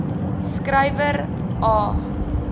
skry wer aa